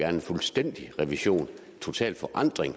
en fuldstændig revision en total forandring